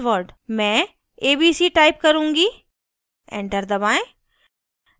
मैं abc type करुँगी enter दबाएं